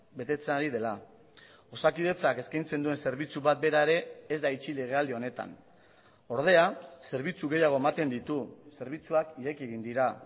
betetzen ari dela osakidetzak eskaintzen duen zerbitzu bat bera ere ez da itxi legealdi honetan ordea zerbitzu gehiago ematen ditu zerbitzuak ireki egin dira